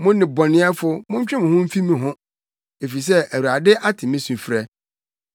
Mo nnebɔneyɛfo, montwe mo ho mfi me ho! efisɛ Awurade ate me sufrɛ.